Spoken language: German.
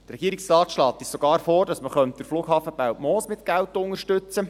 Der Regierungsrat schlägt uns sogar vor, dass man den Flughaben Belpmoos mit Geld unterstützt.